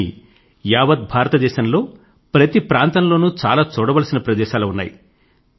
కానీ యావత్ భారతదేశం లో ప్రతి ప్రాంతం లోనూ చాలా చూడవలసిన ప్రదేశాలు ఉన్నాయి